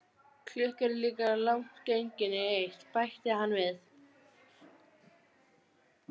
Klukkan er líka langt gengin í eitt, bætti hann við.